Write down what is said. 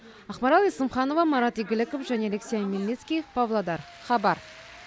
ақмарал есімханова марат игіліков және алексей омельницкий павлодар хабар